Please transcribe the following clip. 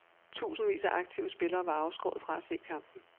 Tusindvis af aktive spillere var afskåret fra se kampen.